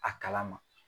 A kala ma